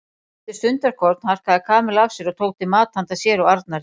Eftir stundarkorn harkaði Kamilla af sér og tók til mat handa sér og Arnari.